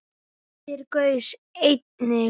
Geysir gaus einnig.